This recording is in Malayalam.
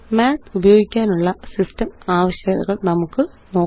മാത്ത് ഉപയോഗിക്കാനുള്ള സിസ്റ്റം ആവശ്യകതകള് നമുക്ക് നോക്കാം